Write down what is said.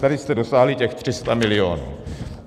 Tady jste dosáhli těch 300 milionů.